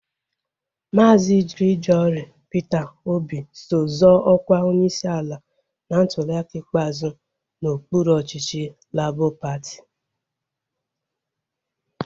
Maazi Gregory Peter Obi so zoo ọkwa onyeisi ala na ntuliaka ikpeazụ n'okpuru ọchịchị Labọ patị